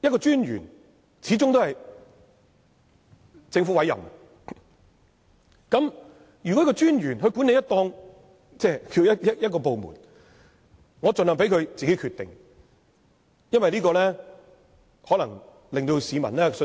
專員是由政府委任，專員在管理這個部門，特首盡量由他自行決定，這樣可能令市民有較大的信心。